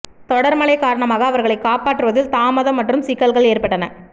தொடர் மழைக்காரணமாக அவர்களைக் காப்பாற்றுவதில் தாமதம் மற்றும் சிக்கல்கள் ஏற்பட்டன